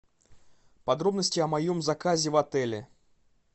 подробности о моем заказе в отеле